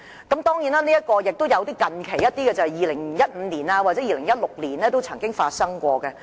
當然，也有一些近期在2015年或2016年的例子。